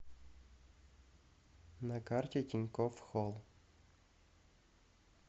на карте тинькофф холл